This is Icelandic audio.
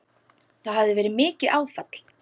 Það hafi verið mikið áfall.